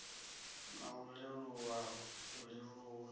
na u leluwa u leluwa